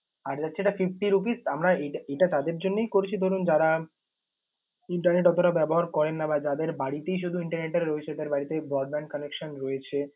আর যাচ্ছে এটা fifty rupees । তো আমরা এটা তাদের জন্যই করেছি, ধরুন যারা internet অতটা ব্যবহার করেন না বা যাদের বাড়িতেই শুধু internet টা রয়েছে, তাদের বাড়িতে broadband connection রয়েছে